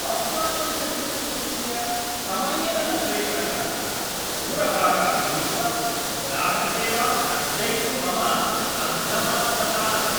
अस्माकं cheque book इत्यस्य समयेन न प्रेषणकारणात् दूरभाषं गृहीत्वा ग्राहकसेवां तर्जयितुं मम अर्धमनस्कता अस्ति।